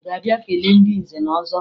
Ị ga-abịa kelee ndị nze na ọzọ?